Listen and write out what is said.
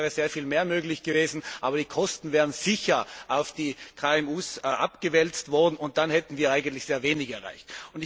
Technisch wäre sehr viel mehr möglich gewesen, aber die Kosten wären sicher auf die KMU abgewälzt worden, und dann hätten wir eigentlich sehr wenig erreicht.